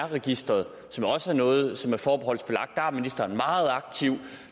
registeret som jo også er noget som er forbeholdsbelagt der er ministeren meget aktiv